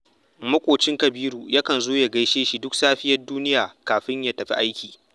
Maƙocin Kabiru yakan zo ya gaishe shi duk safiyar duniya, kafin ya tafi aiki